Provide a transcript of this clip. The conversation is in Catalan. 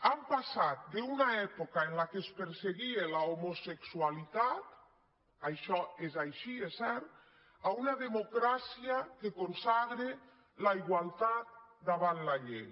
hem passat d’una època en què es perseguia l’homosexualitat això és així és cert a una democràcia que consagra la igualtat davant la llei